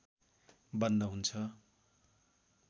बन्द हुन्छ